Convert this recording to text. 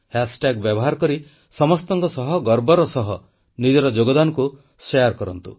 hash tag ବ୍ୟବହାର କରି ସମସ୍ତଙ୍କ ସହ ଗର୍ବର ସହ ନିଜର ଯୋଗଦାନକୁ ଶେୟାର କରନ୍ତୁ